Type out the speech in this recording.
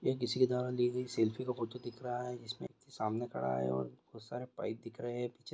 यह किसी के द्वारा ली गई सेल्फी का फोटो दिख रहा है इसमें सामने खड़ा है और बहुत सारे पाइप दिख रहे है। पीछे --